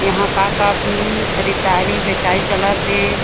यहाँ का का खरीदारी बचाई चलत हे।